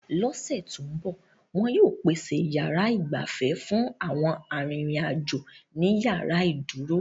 L'ọ́sẹ̀ tó ń bọ̀, wọn yóò pèsè yàrá igbafe fún àwọn arìnrìn-àjò ni yàrá ìdúró